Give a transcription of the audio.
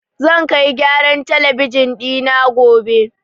Zan kai gyaran talabijin ɗi na gobe.